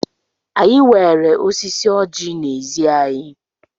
Anyị nweere osisi oji n'ezi anyị.